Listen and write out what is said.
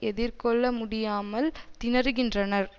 எதிர்கொள்ள முடியாமல் திணறுகின்றனர்